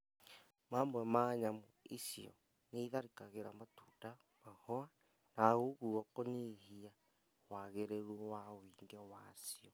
Mamwe ma nyamũ icio nĩitharĩkagĩra matunda, mahũa, na ũguo kũnyihia wagĩrĩru na wũingĩ wacio